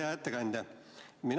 Hea ettekandja!